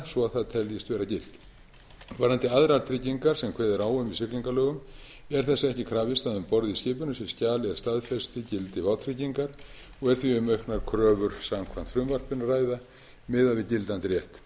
svo að það teljist vera gilt varðandi aðrar tryggingar sem kveðið er á um í siglingalögum er þess ekki krafist að um borð í skipinu sé skjal er staðfesti gildi vátryggingar og er því um auknar kröfur samkvæmt frumvarpinu að ræða miðað við gildandi rétt